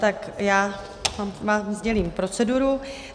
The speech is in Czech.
Tak já vám sdělím proceduru.